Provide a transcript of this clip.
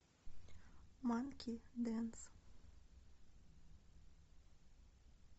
манки дэнс